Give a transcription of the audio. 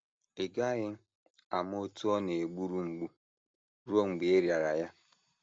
“ Ị GAGHỊ AMA OTÚ Ọ NA - EGBURU MGBU RUO MGBE Ị RỊARA YA.